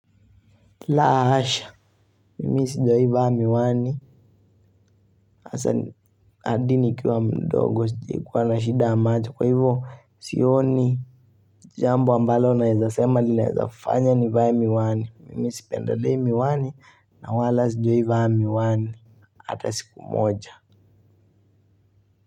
Lahasha! Mimi sijawahi vaa miwani hasa hadi nikiwa mdogo sijawahi kuwa na shida ya macho, kwa hivyo sioni jambo ambalo naezasema linawezafanya nivae miwani, mimi sipendelei miwani na wala sijawahi vaa miwani hata siku moja.